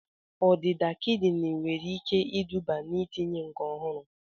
Ọdịda kidini nwere ike iduba n'itinye nke ọhụrụ